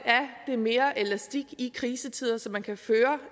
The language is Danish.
er mere elastik i krisetider så man kan føre